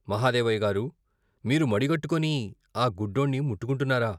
మహదేవయ్య గారూ, మీరు మడిగట్టుకుని ఆ గుడ్డోణ్ణి ముట్టుకుంటున్నారా?